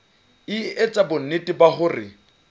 e etsa bonnete ba hore